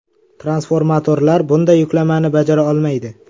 Transformatorlar bunday yuklamani bajara olmaydi.